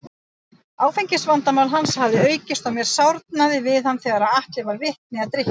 Áfengisvandamál hans hafði aukist og mér sárnaði við hann þegar Atli varð vitni að drykkjunni.